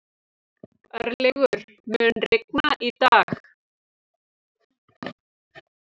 Örlygur, mun rigna í dag?